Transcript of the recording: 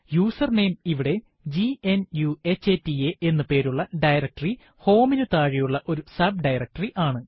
username ഇവിടെ ഗ്നുഹത എന്ന് പേരുള്ള ഡയറക്ടറി home നു താഴെയുള്ള ഒരു sub ഡയറക്ടറി ആണ്